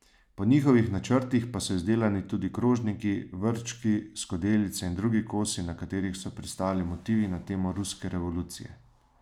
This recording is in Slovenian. Po njihovih načrtih pa so izdelani tudi krožniki, vrčki, skodelice in drugi kosi, na katerih so pristali motivi na temo ruske revolucije.